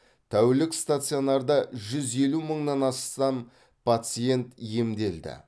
тәулік стационарда жүз елу мыңнан ассам пациент емделді